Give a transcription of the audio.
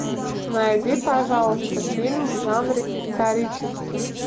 найди пожалуйста фильмы в жанре исторический